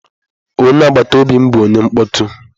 Onye agbata obi m bụ onye mkpọtụ.